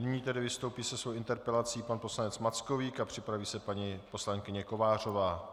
Nyní tedy vystoupí se svou interpelací pan poslanec Mackovík a připraví se paní poslankyně Kovářová.